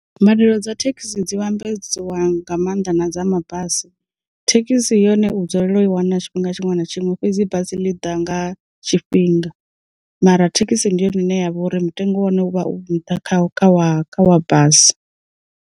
Mbadelo dza thekhisi dzi vhambedzwa nga maanḓa na dza mabasi, thekhisi yone u dzulela u i wana tshifhinga tshiṅwe na tshiṅwe fhedzi basi ḽi ḓa nga tshifhinga, mara thekhisi ndi yone ine yavha uri mutengo wane u vha u nṱha khakha wa kha wa basi.